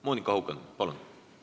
Monika Haukanõmm, palun!